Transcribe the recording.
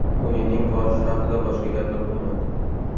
O‘yinning borishi haqida boshqa gapirmayman.